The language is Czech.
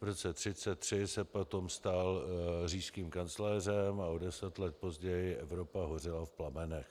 V roce 1933 se potom stal říšským kancléřem a o deset let později Evropa hořela v plamenech.